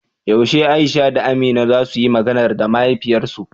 Yaushe Aisha da Amina za suyi "Maganar" da mahaifiyarsu?